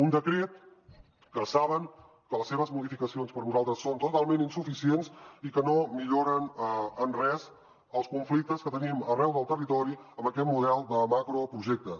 un decret que saben que les seves modificacions per nosaltres són totalment insuficients i que no milloren en res els conflictes que tenim arreu del territori amb aquest model de macroprojectes